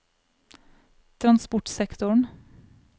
transportsektoren